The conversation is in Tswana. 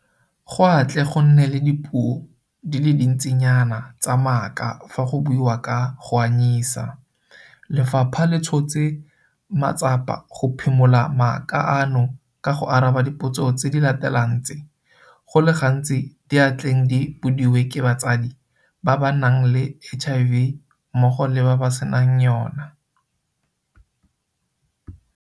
Go a tle go nne le dipuo di le dintsinayana tsa maaka fa go buiwa ka go anyisa, lefapha le tshotse matsapa go phimola maaka ano ka go araba dipotso tse di latelang tse go le gantsi di a tleng di bodiwe ke batsadi ba ba nang le HIV mmogo le ba ba senang yona.